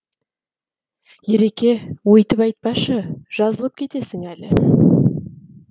ереке өйтіп айтпашы жазылып кетесің әлі